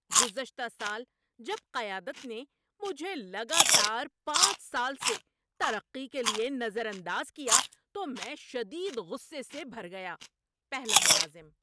‏گزشتہ سال جب قیادت نے مجھے لگاتار پانچ سال سے ترقی کے لیے نظر انداز کیا تو میں شدید غصے سے بھر گیا۔ (پہلا ملازم)